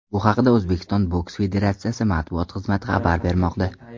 Bu haqda O‘zbekiston boks federatsiyasi matbuot xizmati xabar bermoqda .